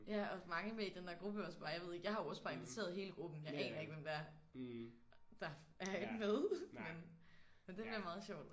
Ja og mange med i den der gruppe også bare jeg ved ikke jeg har også bare inviteret hele gruppen jeg aner ikke hvem der er der er i med. Men det bliver meget sjovt